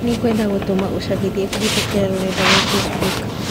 Nĩngwenda gũtũma úcabithia kũhītũkīra rũrenda rũa facebook.